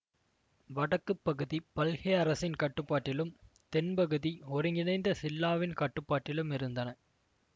வடக்கு பகுதி பல்ஹே அரசின் கட்டுப்பாட்டிலும் தென்பகுதி ஒருங்கிணைந்த சில்லாவின் கட்டுப்பாட்டிலும் இருந்தன